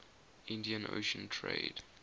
indian ocean trade